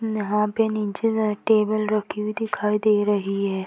नहा पे नीचे टेबल रखी हुई दिखाई दे रही है।